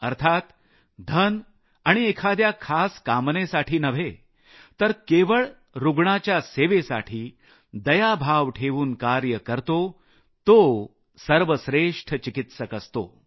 अर्थात धन आणि एखाद्या खास कामनेसाठी नव्हे तर केवळ रूग्णाच्या सेवेसाठी दयाभाव ठेवून कार्य करतो तो सर्वश्रेष्ठ चिकित्सक असतो